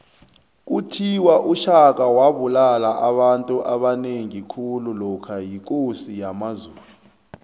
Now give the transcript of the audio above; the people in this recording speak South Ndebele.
kuthiwa ushaka wabulala abantu abanengi khulu lokha yikosi yamazulu